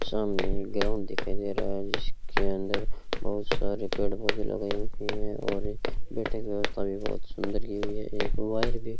सामने ग्राउंड दिखाई दे रहा है जिसके अंदर बहुत सारे पेड़ पौधे लगाए होते हैं और बैठने की व्यवस्था भी बहोत सुंदर की हुई है एक वायर भी --